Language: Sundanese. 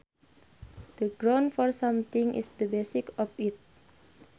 The grounds for something is the basis of it